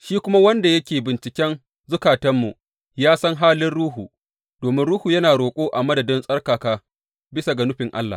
Shi kuma wanda yake binciken zukatanmu ya san halin Ruhu, domin Ruhu yana roƙo a madadin tsarkaka bisa ga nufin Allah.